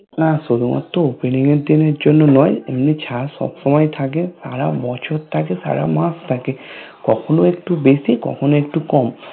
না শুধু মাত্র Opening এর দিনের জন্য নয় এমনি ছাড় সবসময় থাকে সারাবছর থাকে সারামাস থাকে কখনো একটু বেশি কখনো একটু কম